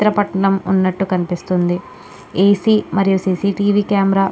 కనిపితుంది A C మరియు CCTV camera--